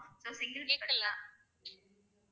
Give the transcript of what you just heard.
So ma'am single எல்லாம்